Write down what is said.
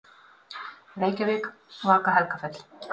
Reykjavík: Vaka-Helgafell.